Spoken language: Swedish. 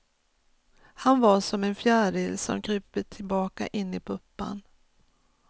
Han var som en fjäril som krupit tillbaka in i puppan.